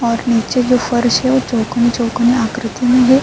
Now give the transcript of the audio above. اور نیچے جو فرش ہے وو چوکور-چوکور آکرتی مے ہے۔